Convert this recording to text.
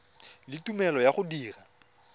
le tumelelo ya go dira